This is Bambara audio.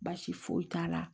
Baasi foyi t'a la